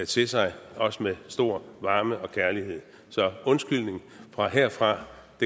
til sig også med stor varme og kærlighed så en undskyldning herfra